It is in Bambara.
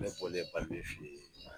Ne